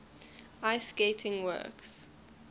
ice skating works